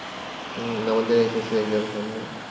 হুম্ আমাদের SSC exam সামনে